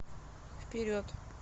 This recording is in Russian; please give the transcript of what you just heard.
вперед